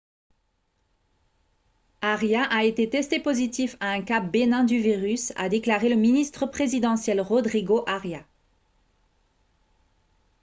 arias a été testé positif à un cas bénin du virus a déclaré le ministre présidentiel rodrigo arias